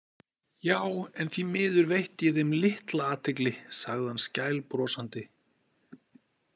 Já, en því miður veitti ég þeim litla athygli, sagði hann skælbrosandi.